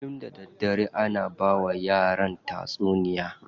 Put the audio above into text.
Kullum da daddare ana bawa yaran tatsuniya.